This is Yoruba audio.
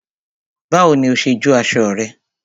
Báwo ni o ṣe jó aṣọ rẹ?